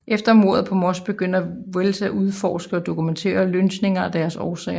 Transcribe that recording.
Efter mordet på Moss begyndte Wells at udforske og dokumentere lynchninger og deres årsager